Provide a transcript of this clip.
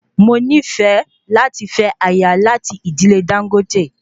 Mo nifẹ láti fẹ aya lati idile Dangote